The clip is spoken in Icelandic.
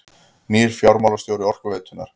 Nýr fjármálastjóri Orkuveitunnar